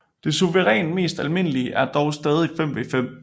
Det suverænt mest almindelige er dog stadig 5v5